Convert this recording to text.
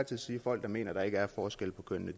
tid sige at folk der mener at der ikke er forskel på kønnene